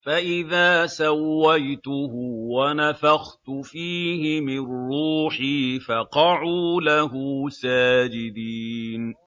فَإِذَا سَوَّيْتُهُ وَنَفَخْتُ فِيهِ مِن رُّوحِي فَقَعُوا لَهُ سَاجِدِينَ